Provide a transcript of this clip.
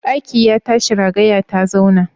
Ɗaki ya tashi ragaya ta zauna?